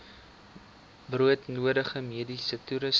broodnodige mediese toerusting